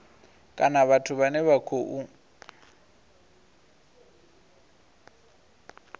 kana vhathu vhane vha khou